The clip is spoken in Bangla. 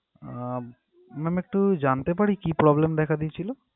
আহ ma'am একটু জানতে পারি কি problem দেখা দিয়েছিল?